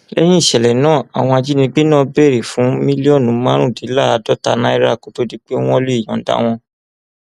lẹyìn ìṣẹlẹ náà àwọn ajínigbé náà béèrè fún mílíọnù márùndínláàádọta náírà kó tóó di pé wọn lè yọǹda wọn